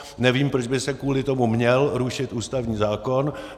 Nevím, proč by se kvůli tomu měl rušit ústavní zákon.